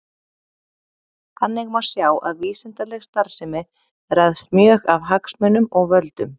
Þannig má sjá að vísindaleg starfsemi ræðst mjög af hagsmunum og völdum.